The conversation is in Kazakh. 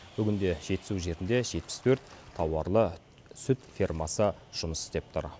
бүгінде жетісу жерінде жетпіс төрт тауарлы сүт фермасы жұмыс істеп тұр